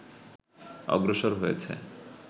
অগ্রসর হয়েছে